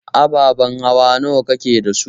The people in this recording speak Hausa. Ababen hawa nawa kake da su?